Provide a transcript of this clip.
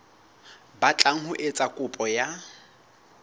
batlang ho etsa kopo ya